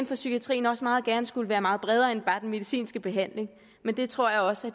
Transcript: for psykiatrien også meget gerne skulle være meget bredere end bare den medicinske behandling men det tror jeg også